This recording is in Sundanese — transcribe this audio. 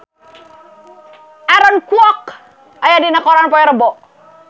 Aaron Kwok aya dina koran poe Rebo